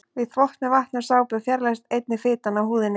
Við þvott með vatni og sápu fjarlægist einnig fitan af húðinni.